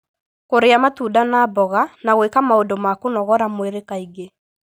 Kũrĩa matunda na mboga, na gwĩka maũndũ ma kũnogora mwĩrĩ kaingĩ,